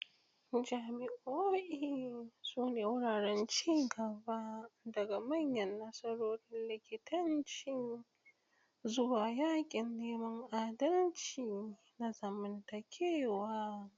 Jami'o'i sune wuraren ci gaba, daga manyan nasarorin likitanci zuwa yakin neman adalci na zamantakewa.